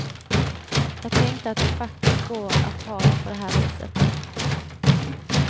Jag tänkte att det faktiskt går att ha det på det här viset.